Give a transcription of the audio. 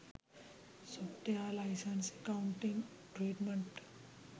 software license accounting treatment